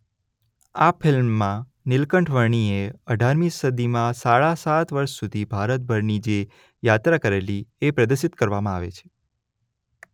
આ ફિલ્મમાં નીલકંઠ વર્ણીએ અઢારમી સદીમાં સાડા સાત વર્ષ સુધી ભારતભરની જે યાત્રા કરેલી એ પ્રદર્શિત કરવામાં આવે છે.